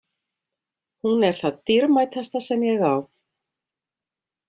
Hún er það dýrmætasta sem ég á.